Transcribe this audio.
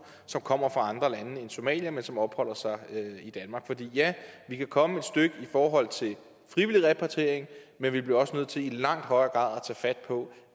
som kommer fra andre lande end somalia men som opholder sig i danmark for ja vi kan komme et stykke i forhold til frivillig repatriering men vi bliver også nødt til i langt højere grad